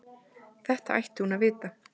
Þetta ætti hún að vita.